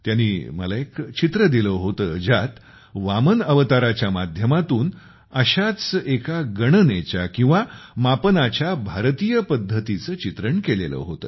त्यांनी मला एक पेंटिंग दिले होते ज्यात वामन अवताराच्या माध्यमातून अशाच एका एका गणनेच्या किंवा मापनाच्या भारतीय पद्धति चे चित्रण केलेले होते